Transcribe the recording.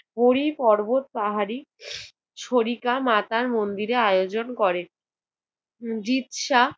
হরি পর্বত পাহাড়ী ছরিকা মাতার মন্দিরে আয়োজন করে। জিপ্সা